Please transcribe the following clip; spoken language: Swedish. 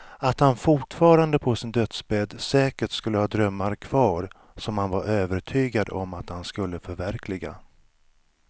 Att han fortfarande på sin dödsbädd säkert skulle ha drömmar kvar som han var övertygad om att han skulle förverkliga.